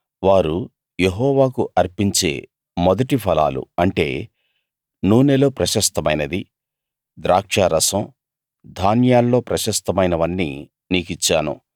వారు యెహోవాకు అర్పించే మొదటి ఫలాలు అంటే నూనెలో ప్రశస్తమైనది ద్రాక్షారసం ధాన్యాల్లో ప్రశస్తమైనవన్నీ నీకిచ్చాను